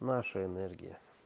наша энергия